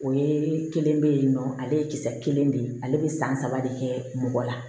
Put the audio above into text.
O ye kelen be yen nɔ ale ye kisɛ kelen de ye ale be san saba de kɛ mɔgɔ la